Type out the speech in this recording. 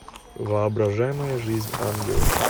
воображаемая жизнь ангелов